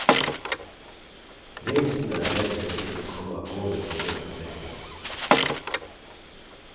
Reisende er redde for ikke å komme av gårde på grunn av streiken.